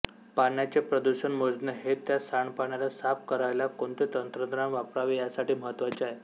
पाण्याचे प्रदुषण मोजणे हे त्या सांडपाण्याला साफ करायला कोणते तंत्रज्ञान वापरावे यासाठी महत्त्वाचे आहे